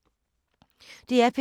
DR P2